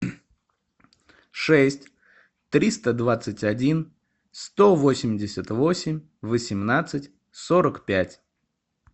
шесть триста двадцать один сто восемьдесят восемь восемнадцать сорок пять